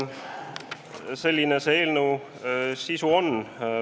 Selline see eelnõu sisu on.